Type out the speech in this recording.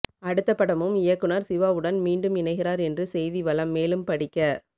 அடுத்த படமும் இயக்குனர் சிவாவுடன் மீண்டும் இணைகிறார் என்று செய்தி வலம் மேலும் படிக்க